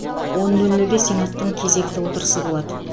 он нөл нөлде сенаттың кезекті отырысы болады